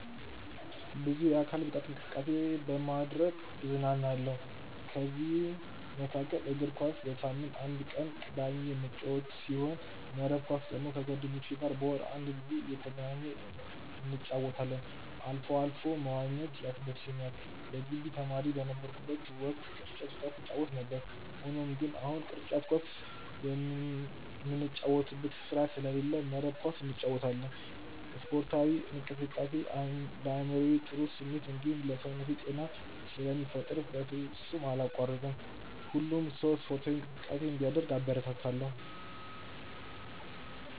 ብዙ የአካል ብቃት እንቅስቃሴ በማድረግ እዝናናለሁ። ከዚህም መካከል እግር ኳስ በሳምንት አንድ ቀን ቅዳሜ የምጫወት ሲሆን መረብ ኳስ ደግሞ ከጓደኞቼ ጋር በወር አንድ ጊዜ እየተገናኘን እንጫወታለን አልፎ አልፎም መዋኘት ያስደስተኛል የግቢ ተማሪ በነበርኩበት ወቅት ቅርጫት ኳስ እንጫወት ነበር። ሆኖም ግን አሁን ቅርጫት ኳስ ምንጫወትበት ስፍራ ስለሌለ መረብ ኳስ እንጫወታለን። ስፖርታዊ እንቅስቃሴ ለአይምሮ ጥሩ ስሜት እንዲሁም ለሰውነቴ ጤናን ስለሚፈጥር በፍጹም አላቋርጥም። ሁሉም ሰው ስፖርታዊ እንቅስቃሴ እንዲያደርግ አበረታታለሁ።